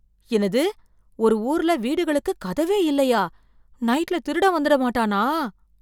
என்னது, ஒரு ஊர்ல வீடுகளுக்கு கதவே இல்லையா, நைட்ல திருடன் வந்துட மாட்டானா?